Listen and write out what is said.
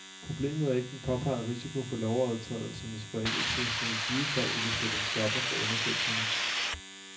Problemet er ikke den påpegede risiko for lovovertrædelsernes forældelse, som i givet fald ville sætte en stopper for undersøgelserne.